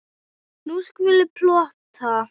Nú skulum við plotta.